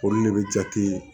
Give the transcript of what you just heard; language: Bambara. Olu de bɛ jate